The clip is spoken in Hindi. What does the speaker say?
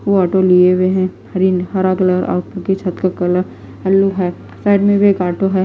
वो ऑटो लिए हुए हैं हरी हरा कलर आउट की छत का कलर हलू है साइड में भी एक ऑटो है।